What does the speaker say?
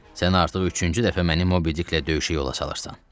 Sən artıq üçüncü dəfə məni Mobidiklə döyüşə yola salırsan.